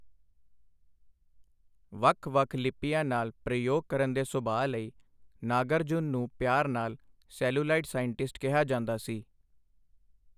ਵੱਖ ਵੱਖ ਲਿਪੀਆਂ ਨਾਲ ਪ੍ਰਯੋਗ ਕਰਨ ਦੇ ਸੁਭਾਅ ਲਈ ਨਾਗਾਰਜੁਨ ਨੂੰ ਪਿਆਰ ਨਾਲ 'ਸੈਲੂਲਾਇਡ ਸਾਇੰਟਿਸਟ' ਕਿਹਾ ਜਾਂਦਾ ਸੀ।